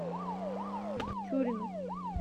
тюрину